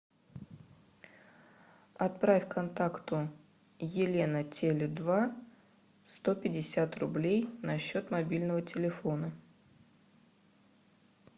отправь контакту елена теле два сто пятьдесят рублей на счет мобильного телефона